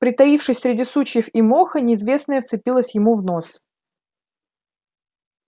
притаившись среди сучьев и моха неизвестное вцепилось ему в нос